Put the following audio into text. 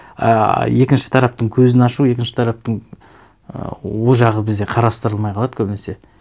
ыыы екінші тараптың көзін ашу екінші тараптың ы ол жағы бізде қарастырылмай қалады көбінесе